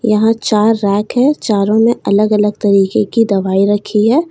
यहां चार रैक हैं चारों में अलग अलग तरीके की दवाई रखी है।